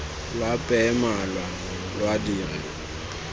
lo apeye malwa lo dire